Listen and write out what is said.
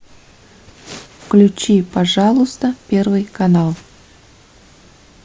включи пожалуйста первый канал